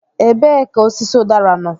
Ebee ka osisi udara nọ?